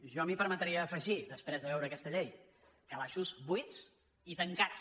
jo m’hi permetria afegir després de veure aquesta llei calaixos buits i tancats